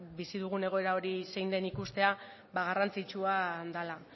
bizi dugun egoera hori zein den ikustea garrantzitsua dela